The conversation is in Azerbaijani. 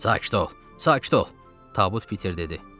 Sakit ol, sakit ol, Tabut Piter dedi.